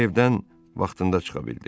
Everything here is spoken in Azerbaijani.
O evdən vaxtında çıxa bildi.